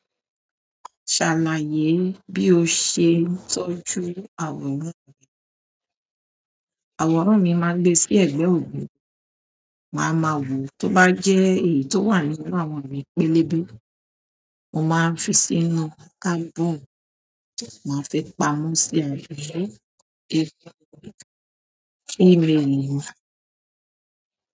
Ṣàlàyé bí o ṣe ń tọ́jú àwòrán rẹ. Àwòrán mi máa ń gbé sí ẹ̀gbẹ́ ògiri, màá ma wò ó, tó bá jẹ́ èyí tó wà nínú àwọn ìwé pélébé, mo máa ń fi sínú album, màá sì fi pamọ́ sí àwọn ẹgbẹ́ ẹgbẹ́, kí èmi lè rí i.